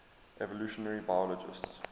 evolutionary biologists